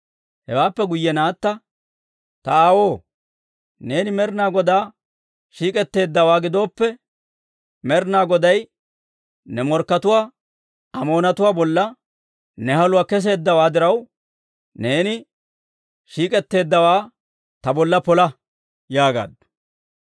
Hewaappe guyye naatta, «Ta aawoo, neeni Med'inaa Godaw shiik'etteeddawaa gidooppe, Med'inaa Goday ne morkkatuwaa, Amoonatuwaa bolla ne haluwaa kesseedda diraw, neeni shiik'etteeddawaa ta bolla pola» yaagaaddu.